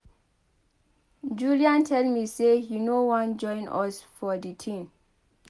Julian tell me say he no wan join us for the thing.